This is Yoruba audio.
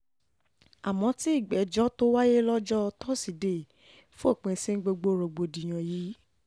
àmọ́ tí ìgbẹ́jọ́ tó wáyé lọ́jọ́ lọ́jọ́ tosidee fòpin sí gbogbo rògbòdìyàn yìí